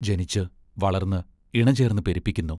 ജനിച്ച്, വളർന്ന്, ഇണചേർന്ന് പെരുപ്പിക്കുന്നു.